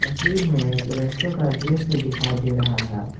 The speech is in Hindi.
तस्वीर में एक का दृश्य दिखाई दे रहा है।